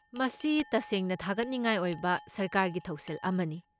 ꯃꯁꯤ ꯇꯁꯦꯡꯅ ꯊꯥꯒꯠꯅꯤꯡꯉꯥꯏ ꯑꯣꯏꯕ ꯁꯔꯀꯥꯔꯒꯤ ꯊꯧꯁꯤꯜ ꯑꯃꯅꯤ꯫